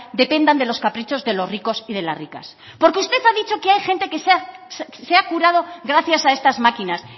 dependan de los caprichos de los ricos y de las ricas porque usted ha dicho que hay gente que se ha curado gracias a estas máquinas